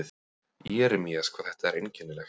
Jeremías, hvað þetta er einkennilegt.